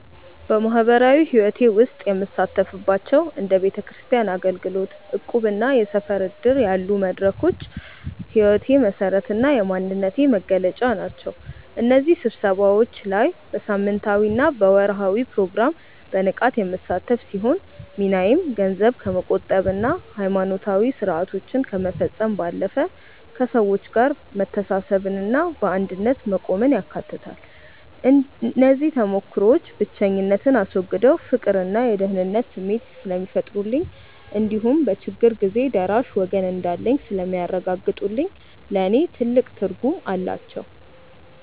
በማኅበራዊ ሕይወቴ ውስጥ የምሳተፍባቸው እንደ ቤተክርስቲያን አገልግሎት፣ እቁብና የሰፈር ዕድር ያሉ መድረኮች የሕይወቴ መሠረትና የማንነቴ መገለጫ ናቸው። በእነዚህ ስብሰባዎች ላይ በሳምንታዊና በወርኃዊ ፕሮግራም በንቃት የምሳተፍ ሲሆን፣ ሚናዬም ገንዘብ ከመቆጠብና ሃይማኖታዊ ሥርዓቶችን ከመፈጸም ባለፈ፣ ከሰዎች ጋር መተሳሰብንና በአንድነት መቆምን ያካትታል። እነዚህ ተሞክሮዎች ብቸኝነትን አስወግደው የፍቅርና የደህንነት ስሜት ስለሚፈጥሩልኝ እንዲሁም በችግር ጊዜ ደራሽ ወገን እንዳለኝ ስለሚያረጋግጡልኝ ለእኔ ትልቅ ትርጉም አላቸው።